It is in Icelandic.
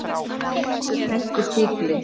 Austur henti tígli.